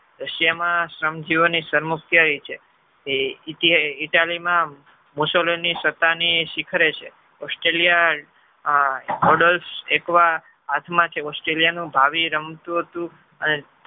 russia માં શ્રમ જીવી સર્વમુક્તિ આવી છે italy માં mussoland ની સત્તા ની શિખરે છે australia order હાથ માં છે australia ભાવિ રમતું હતું. અને